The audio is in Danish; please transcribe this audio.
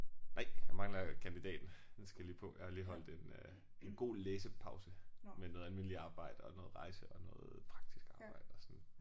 Nej jeg mangler kandidaten. Den skal jeg lige på jeg har lige holdt en øh en god læsepause med noget almindeligt arbejde og noget rejse og noget praktisk arbejde og sådan